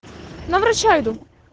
на врача иду